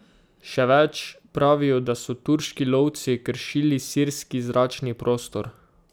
Še več, pravijo, da so turški lovci kršili sirski zračni prostor.